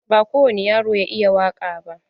Ba kowani yaro ya iya waƙa ba.